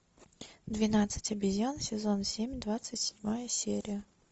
двенадцать обезьян сезон семь двадцать седьмая серия